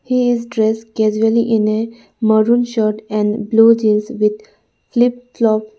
He is dress casually in a maroon shirt and blue jeans with flip flop.